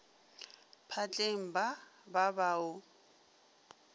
phatleng ba ba ba o